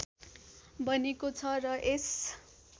बनेको छ र यस